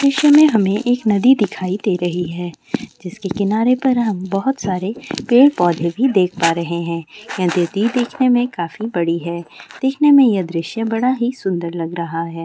दृश्य में हमे एक नदी दिखाई दे रही है जिसके किनारे पर हम बहोत सारे पेड़-पौधे भी देख पा रहे है ये नदी देखने में काफी बड़ी है देखने ये दृश्य बड़ा ही सुन्दर लग रहा है।